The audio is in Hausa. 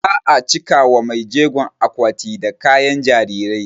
Za a cika wa maijegon akwati da kayan jarirai